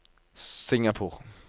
Singapore